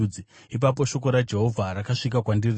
Ipapo shoko raJehovha rakasvika kwandiri richiti,